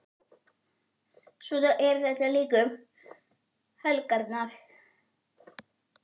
Svona er þetta líka um helgar.